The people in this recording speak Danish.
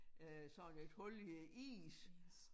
Øh sådan et hul i æ is